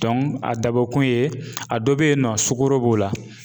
a dabɔ kun ye, a dɔ be yen nɔ, sugoro b'o la